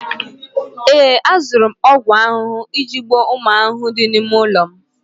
ee, azụrụ m ọgwụ ahụhụ iji gbuo ụmụ ahụhụ dị n'ime ụlọ m